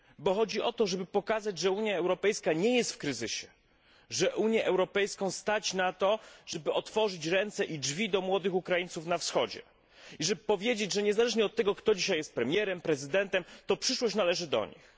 Chodzi o to, żeby pokazać, że Unia Europejska nie jest w kryzysie, że Unię Europejską stać na to, żeby otworzyć ręce i drzwi do młodych Ukraińców na Wschodzie, żeby powiedzieć, że niezależnie od tego, kto dzisiaj jest premierem, prezydentem, to przyszłość należy do nich.